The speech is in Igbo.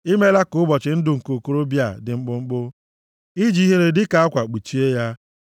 I meela ka ụbọchị ndụ nke okorobịa ya dị mkpụmkpụ. I ji ihere dịka akwa kpuchie ya.